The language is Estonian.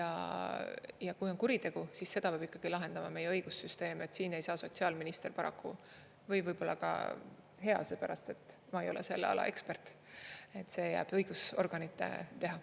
Ja kui on kuritegu, siis seda peab ikkagi lahendama meie õigussüsteem, siin ei saa sotsiaalminister paraku, või võib-olla ka hea, seepärast et ma ei ole selle ala ekspert, see jääb õigusorganite teha.